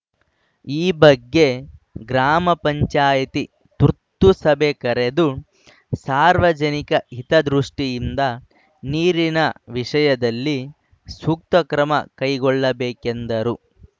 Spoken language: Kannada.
ಈ ಬಗ್ಗೆ ಗ್ರಾಮ ಪಂಚಾಯಿತಿ ತುರ್ತು ಸಭೆ ಕರೆದು ಸಾರ್ವಜನಿಕ ಹಿತದೃಷ್ಠಿಯಿಂದ ನೀರಿನ ವಿಷಯದಲ್ಲಿ ಸೂಕ್ತ ಕ್ರಮ ಕೈಗೊಳ್ಳಬೇಕೆಂದರು